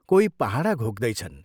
कोही पहाडा घोक्दैछन्।